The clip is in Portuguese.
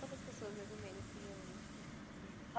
Quantas pessoas, mais ou menos, se reúnem assim?